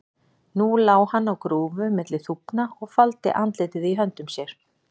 Nú lá hann á grúfu milli þúfna og faldi andlitið í höndum sér.